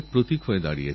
কোটিমনের গর্ব তোমরা